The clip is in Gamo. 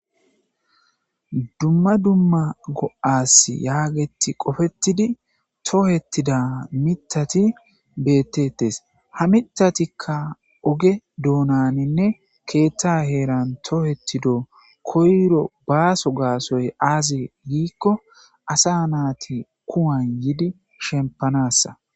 dumma dumma go'as yaageti qofetidi tohettida mitati beettettes ha mitatikka oge doonaninne keetta heeran tohettido koyro baaso gaasoy aazi giikko asa naati kuwan yiidi shempanassa